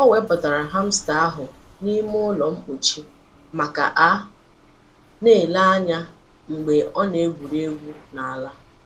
O wepụtara hamster ahụ n'ime ụlọ mkpọchi maka ka a na-ele ya anya mgbe ọ na-egwuri egwu n'ala.